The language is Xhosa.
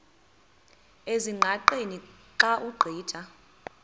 ezingqaqeni xa ugqitha